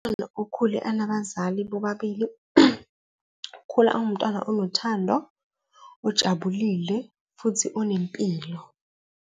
okhule anabazali bobabili, ukhula awumntwana onothando, ojabulile futhi unempilo.